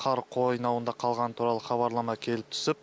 қар қойнауында қалғаны туралы хабарлама келіп түсіп